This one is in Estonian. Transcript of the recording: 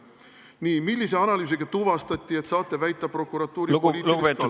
Nii: millise analüüsiga tuvastati, et saate väita prokuratuuri poliitilist kallutatust?